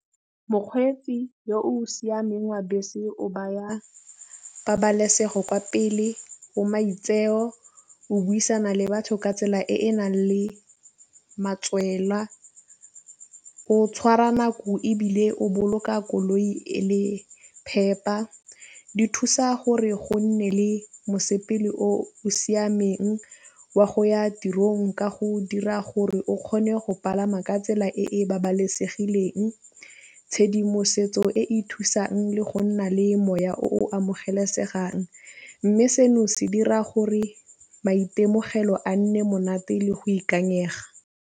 Mokgweetsi yo o siameng wa bese o baya pabalesego kwa pele, o maitseo, o buisana le batho ka tsela e e nang le matswela o tšhwara nako ebile o boloka koloi e le phepa. Di thusa gore go nne le mosepele o siameng wa go ya tirong ka go dira gore o kgone go pagama ka tsela e e babalesegileng tšhedimosetso e e thusang le go nna le semoya o amogelesegang, mme seno se dira gore maitemogelo a nne monate le go ikanyega.